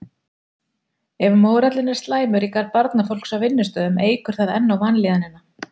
Ef mórallinn er slæmur í garð barnafólks á vinnustaðnum eykur það enn á vanlíðanina.